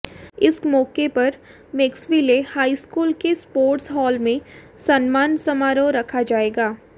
इस मौके पर मैक्सविले हाई स्कूल के स्पोर्ट्स हाल में सम्मान समारोह रखा जाएगा